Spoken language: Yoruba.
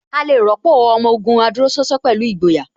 A lè rọ́pò Ọmọ Ògùn adúróṣánṣán pẹ̀lú ìgboyà